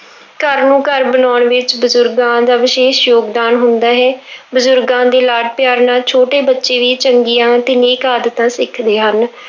ਘਰ ਨੂੰ ਘਰ ਬਣਾਉਣ ਵਿੱਚ ਬਜ਼ੁਰਗਾਂ ਦਾ ਵਿਸ਼ੇਸ਼ ਯੋਗਦਾਨ ਹੁੰਦਾ ਵਿੱਚ ਹੈ ਬਜ਼ੁਰਗਾਂ ਦੇ ਲਾਡ ਪਿਆਰ ਨਾਲ ਛੋਟੇ ਬੱਚੇ ਵੀ ਚੰਗੀਆਂ ਤੇ ਨੇਕ ਆਦਤਾਂ ਸਿੱਖਦੇ ਹਨ।